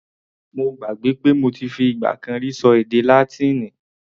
Mo gbàgbé pé mo ti fi ìgbà kan rí ṣọ èdè Látíìnì.